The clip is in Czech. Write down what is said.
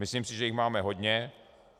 Myslím si, že jich máme hodně.